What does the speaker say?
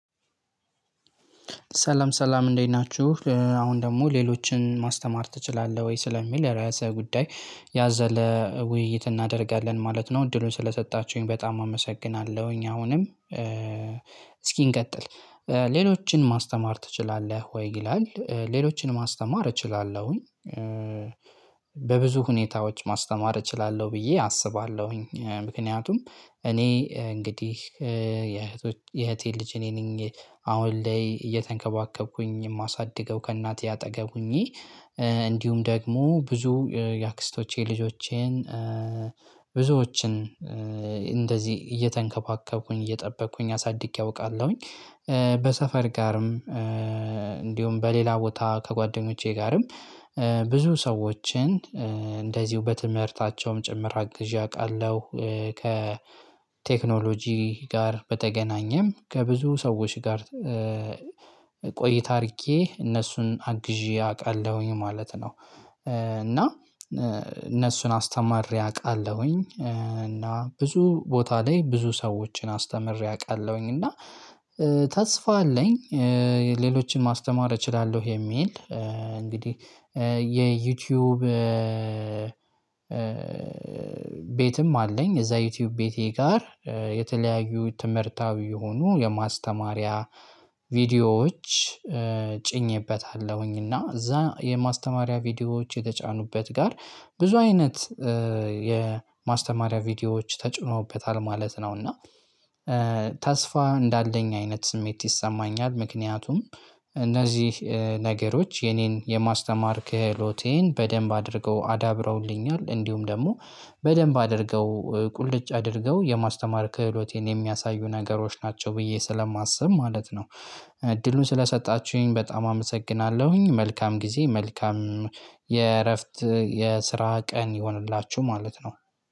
ሰለም ሰላም እንዴት ናችሁ አሁን ደግሞ ሌሎችን ማስተማር ትችላለህ ወይ? ስለሚል የራሰ ጉዳይ ያዘለ ውይይት እናደርጋለን ማለት ነው። እድሉን ስለሰጣችሁኝ በጣም አመሰግናለሁኝ። አሁንም እስኪ እንቀጥል። ሌሎችን ማስተማር ትችላለህ ወይ? ይላል ሌሎችን ማስተማር እችላለሁኝ በብዙ ሁኔታዎች ማስተማር እችላለሁ ብዬ አስባለሁኝ። ምክንያቱም እኔ እንግዲህ የእህቴ ልጅ እኔ ነኝ አሁን ላይ እየተንከባከብኩኝ የማሳድገው ከእናትዬ አጠገብ ሁኚ እንዲሁም ደግሞ ብዙ የአክስቶቼ ልጆቼን ብዙዎችን እንደዚህ እየተንከባከብኩኝ እየጠበቅኩኝ አሳድጌ አውቃለሁኝ። በሰፈር ጋርም እንዲሁም በሌላ ቦታ ከጓደኞቼ ጋርም ብዙ ሰዎችን እንደዚሁ በትምህርታቸውም ጭምር አግዥ አቃለሁ። ከቴክኖሎጂ ጋር በተገናኘም ከብዙ ሰዎች ጋር ቆይታ አድርጌ እነሱን አግዤ አውቃለሁኝ ማለት ነው። እና እነሱን አስተምሬ አውቃለሁኝ እና ብዙ ቦታ ላይ ብዙ ሰዎችን አስተምሬ አውቃለሁኝ። እና ተስፋ አለኝ። ሌሎችን ማስተማር እችላለሁ የሚል። እንግዲህ የዩቲዩብ ቤትም አለኝ። እዛ ዩቲዩብ ቤቴ ጋር የተለያዩ ትምህርታዊ የሆኑ የማስተማሪያ ቪዲዮዎች ጭኜበታለሁኝ። እና እዛ የማስተማሪያ ቪዲዮዎች የተጫኑበት ጋር ብዙ አይነት የማስተማሪያ ቪዲዮዎች ተጭኖበታል ማለት ነው። እና ተስፋ እንዳለኝ አይነት ስሜት ይሰማኛል። ምክንያቱም እነዚህ ነገሮች የኔን የማስተማር ክህሎቴን በደንብ አድርገው አዳብረውልኛል እንዲሁም ደግሞ በደንብ አድርገው ቁልጭ አድርገው የማስተማር ክህሎቴን የሚያሳዩ ነገሮች ናቸው። ብዬ ስለማስብ ማለት ነው። እድሉን ስለሰጣችሁኝ በጣም አመሰግናለሁኝ። መልካም ጊዜ መልካም የእረፍት የስራ ቀን ይሁንላችሁ ማለት ነው።